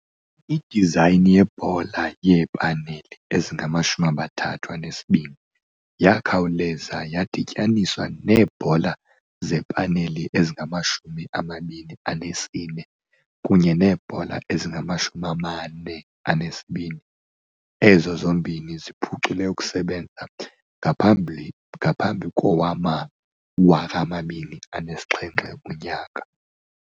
Idizayini yebhola yeepaneli ezingama-32 yakhawuleza yadityaniswa neebhola zepaneli ezingama-24 kunye neebhola ezingama-42, ezo zombini ziphucule ukusebenza ngaphambi kowama-2007.